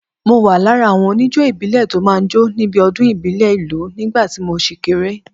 Mo wà lára àwọn oníjó ìbílẹ̀ tó máa ń jó níbi ọdún ìbílẹ̀ ìlú nígbà tí mo ṣì kéré.